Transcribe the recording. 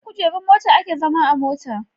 Akan kujerun mota ake zama a mota